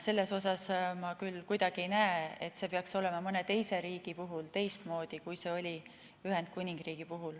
Selles mõttes ma küll kuidagi ei näe, et see peaks olema mõne teise riigi puhul teistmoodi, kui see oli Ühendkuningriigi puhul.